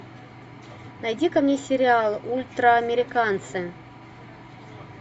найди ка мне сериал ультраамериканцы